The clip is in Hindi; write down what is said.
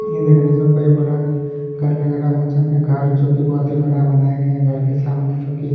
यह देखने से कोई बड़ा घर लग रहा है मुझे कोई घर जो कि बहोत ही बड़ा बनाया गया है घर के सामने जो कि --